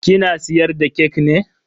Kina siyar da kek ne?